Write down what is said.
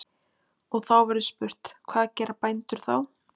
Og þá verður spurt: hvað gera bændur þá?